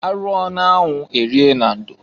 Arụọ na-anwụ erie na ndo.